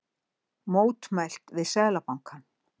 Mótmælt við Seðlabankann